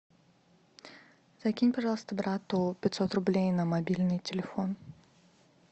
закинь пожалуйста брату пятьсот рублей на мобильный телефон